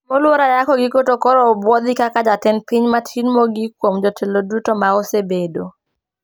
Mluoro Ayako giko to koro obuodhi kaka jatend piny matin mogik kuom jotelo duto ma osebedo